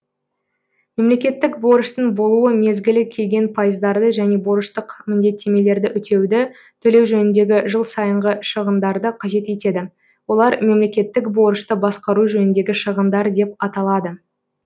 мемлекеттік борыштың болуы мезгілі келген пайыздарды және борыштық міндеттемелерді өтеуді төлеу жөніндегі жыл сайынғы шығындарды қажет етеді олар мемлекеттік борышты басқару жөніндегі шығындар деп аталады